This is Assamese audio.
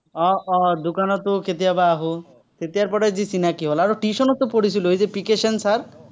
আহ আহ দোকানতো কেতিয়াবা আঁহো। তেতিয়াৰ পৰাই যি চিনাকী হল, আৰু tuition তো পঢ়িছিলো। P K Sen sir.